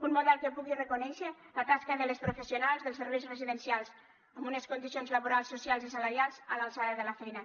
un model que pugui reconèixer la tasca de les professionals dels serveis residencials amb unes condicions laborals socials i salarials a l’alçada de la feina